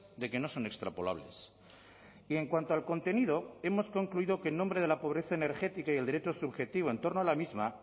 de que no son extrapolables y en cuanto al contenido hemos concluido que en nombre de la pobreza energética y el derecho subjetivo en torno a la misma